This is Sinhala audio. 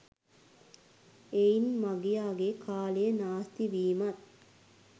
එයින් මගියාගේ කාලය නාස්තිවීමත්